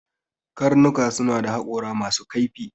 Dogs have sharp teeth